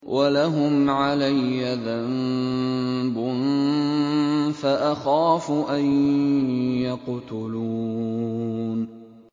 وَلَهُمْ عَلَيَّ ذَنبٌ فَأَخَافُ أَن يَقْتُلُونِ